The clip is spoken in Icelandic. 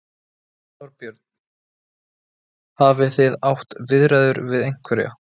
Þorbjörn: Hafið þið átt viðræður við einhverja?